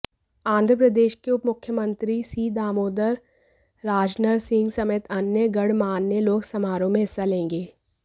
आंध्र प्रदेश के उपमुख्यमंत्री सी दामोदर राजनरसिंह समेत अन्य गणमान्य लोग समारोह में हिस्सा लेंगे